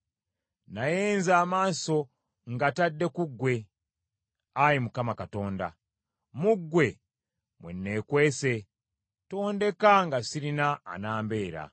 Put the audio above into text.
Naye nze amaaso ngatadde ku ggwe, Ayi Mukama Katonda; mu ggwe mwe neekwese, tondeka nga sirina anambeera!